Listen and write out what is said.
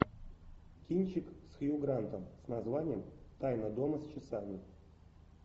кинчик с хью грантом с названием тайна дома с часами